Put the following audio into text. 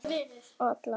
Lánsfé fáist ekki.